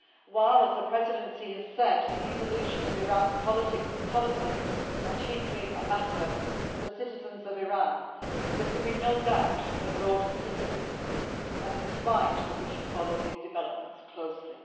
While, as the Presidency has said, the evolution of Iran's politics and policies are chiefly a matter for the citizens of Iran, there can be no doubt of the broader significance, and it is right that we should follow these developments closely.